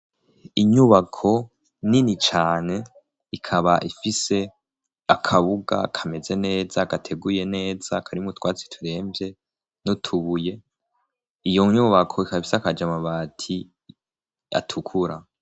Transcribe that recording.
inyubako nini cane ikaba ifise akabuga kameze neza gateguye neza karimu twatsi turemvye nutubuye iyo nyubako ikabise akajamabati atukura